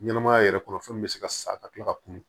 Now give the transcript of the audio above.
Ɲɛnɛmaya yɛrɛ kɔnɔ fɛn min bɛ se ka sa ka kila ka kun